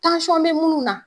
bɛ munnu na